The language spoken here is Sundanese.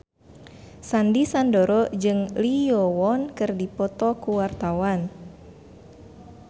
Sandy Sandoro jeung Lee Yo Won keur dipoto ku wartawan